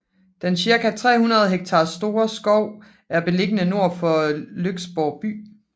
Den cirka 300 hektar store skov er beliggende nord for Lyksborg by